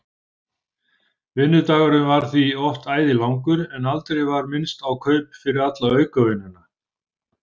Vinnudagurinn varð því oft æði langur en aldrei var minnst á kaup fyrir alla aukavinnuna.